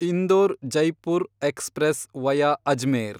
Indore Jaipur express via Ajmer